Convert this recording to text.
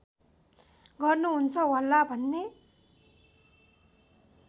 गर्नुहुन्छ होला भन्ने